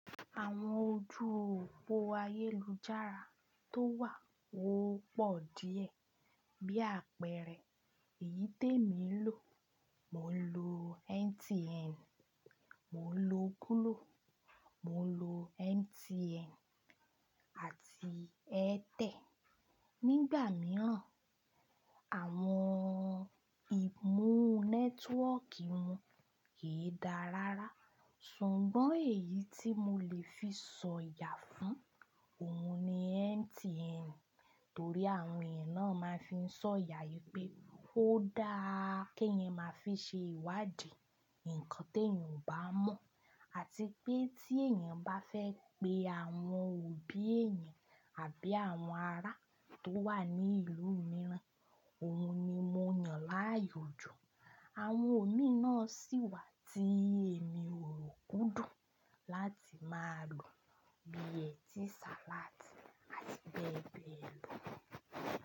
Àwọn ojú òpó ayélujára tó wà wọ́pọ̀ díẹ̀. Bí àpẹẹrẹ, èyí tèmi lò, mò ń lo MTN, mò ń lo Glo, mò ń lo MTN àti Airtel. Nígbà mìíràn, àwọn ìmú nẹ́tíwọ́kì wọn kìí dáa rárá. Ṣùgbọ́n èyí tí mo lè fi sọ̀yà fún òun ni MTN, torí àwọn ẹ̀ náà máa ń fi sọ̀yà pé ó dáa kí ẹ máa fi ṣe ìwádìí nǹkan tí èèyàn ò bá mọ̀ àti pé tí èèyàn bá fẹ́ pe àwọn òbí rẹ̀ àbí àwọn ará tó wà ní ìlú mìíràn, òun ni mo yàn láàyòjú. Àwọn òmíì náà sì wà tí èmi ò ròkú dùn láti máa lò bí i etí, salati àti bẹ́ẹ̀ bẹ́ẹ̀ lọ.